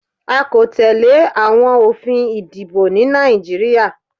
A kò tẹ́lẹ̀ àwọn òfin ìdìbò ní Nàìjíríà.